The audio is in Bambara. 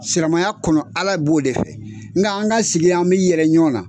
Siramaya kɔnɔ Ala b'o de fɛ nka an ka sigi an bi yɛrɛ ɲɔn na